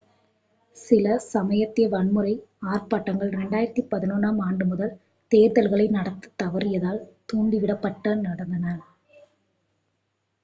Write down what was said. சில சமயத்திய-வன்முறை ஆர்ப்பாட்டங்கள் 2011-ம் ஆண்டு முதல் தேர்தல்களை நடத்தத் தவறியதால் தூண்டிவிடப்பட்டு நடந்தன